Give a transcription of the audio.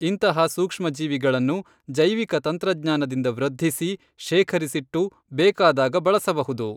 ಇಂತಹ ಸೂಕ್ಷ್ಮಜೀವಿಗಳನ್ನು ಜೈವಿಕ ತಂತ್ರಜ್ಞಾನದಿಂದ ವೃದ್ಧಿಸಿ, ಶೇಖರಿಸಿಟ್ಟು, ಬೇಕಾದಾಗ ಬಳಸಬಹುದು.